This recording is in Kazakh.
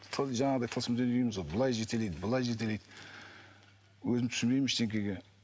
жаңағыдай тылсым дүние дейміз ғой былай жетелейді былай жетелейді өзім түсінбеймін ештеңеге